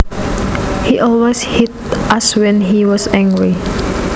He always hit us when he was angry